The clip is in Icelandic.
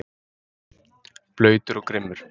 Blautur og grimmur.